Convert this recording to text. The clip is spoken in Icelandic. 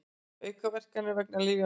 Aukaverkanir vegna lyfjanotkunar.